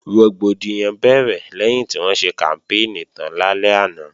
Rògbòdìyàn bẹ̀rẹ̀ lẹ́yìn tí wọ́n ṣe kàmpéènì tán lálẹ́ àná